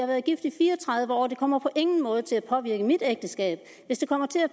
været gift i fire og tredive år og det kommer på ingen måde til at påvirke mit ægteskab hvis det kommer til at